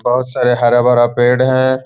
बोहोत सारे हरा-भरा पेड़ है ।